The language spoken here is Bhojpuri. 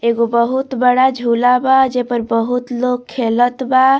एगो बहुत बड़ा झूला बा जे पर बहुत लोग खेलत बा।